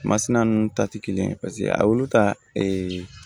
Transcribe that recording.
Masina ninnu ta tɛ kelen ye paseke a y'olu ta